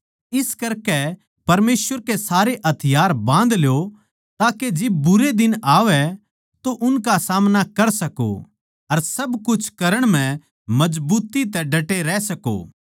इस करके परमेसवर के सारे हथियार बाँध ल्यो ताके जिब बुरे दिन आवै तो उनका सामना कर सको अर सब कुछ करण म्ह मजबुत्ती तै डटे रह सको